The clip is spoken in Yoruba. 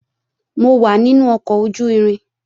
Mo wà nínú ọkọ̀ ojú-irin